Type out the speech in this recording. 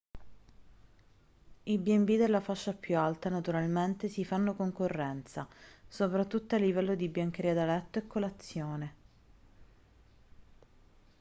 i b&b della fascia più alta naturalmente si fanno concorrenza soprattutto a livello di biancheria da letto e colazione